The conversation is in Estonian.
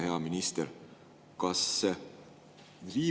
Hea minister!